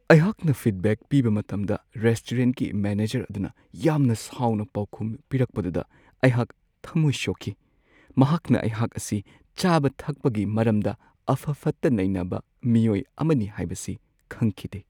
ꯑꯩꯍꯥꯛꯅ ꯐꯤꯗꯕꯦꯛ ꯄꯤꯕ ꯃꯇꯝꯗ ꯔꯦꯁꯇꯨꯔꯦꯟꯠꯀꯤ ꯃꯦꯅꯦꯖꯔ ꯑꯗꯨꯅ ꯌꯥꯝꯅ ꯁꯥꯎꯅ ꯄꯥꯎꯈꯨꯝ ꯄꯤꯔꯛꯄꯗꯨꯗ ꯑꯩꯍꯥꯛ ꯊꯝꯃꯣꯏ ꯁꯣꯛꯈꯤ ꯫ ꯃꯍꯥꯛꯅ ꯑꯩꯍꯥꯛ ꯑꯁꯤ ꯆꯥꯕ-ꯊꯕꯛꯀꯤ ꯃꯔꯝꯗ ꯑꯐ-ꯐꯠꯇ ꯅꯩꯅꯕ ꯃꯤꯑꯣꯏ ꯑꯃꯅꯤ ꯍꯥꯏꯕꯁꯤ ꯈꯪꯈꯤꯗꯦ ꯫